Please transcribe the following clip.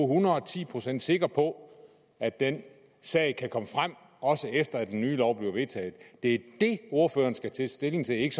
hundrede og ti procent sikre på at den sag kan komme frem også efter at den nye lov bliver vedtaget det det ordføreren skal tage stilling til ikke